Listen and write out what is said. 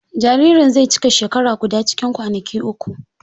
Jaririn zai cika shekara guda cikin kwanaki uku.